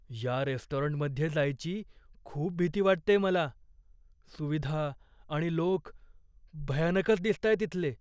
या रेस्टॉरंटमध्ये जायची खूप भीती वाटतेय मला. सुविधा आणि लोक, भयानकच दिसतायत इथले.